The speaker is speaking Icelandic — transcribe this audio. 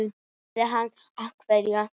Hvað hefur hann afrekað?